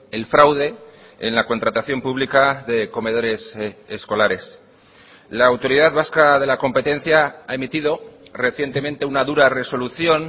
el fraude en la contratación pública de comedores escolares la autoridad vasca de la competencia ha emitido recientemente una dura resolución